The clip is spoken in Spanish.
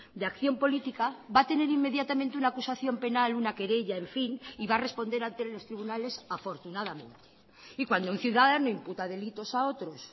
de acción política va a tener inmediatamente una acusación penal una querella en fin y va a responder ante los tribunales afortunadamente y cuando un ciudadano imputa delitos a otros